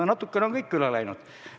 No natukene on kõik üle läinud.